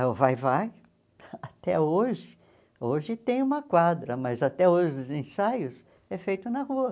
Aí o Vai-vai, até hoje, hoje tem uma quadra, mas até hoje os ensaios é feito na rua.